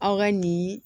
Aw ka nin